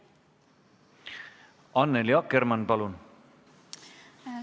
Annely Akkermann, palun!